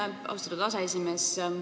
Aitäh, austatud aseesimees!